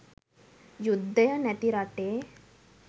යුද්ධය නැති රටේ